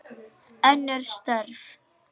Önnur störf.